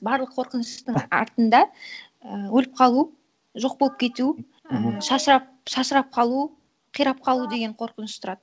барлық қорқыныштың артында і өліп қалу жоқ болып кету і шашырап қалу қирап қалу деген қорқыныш тұрады